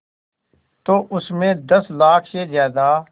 तो उस में दस लाख से ज़्यादा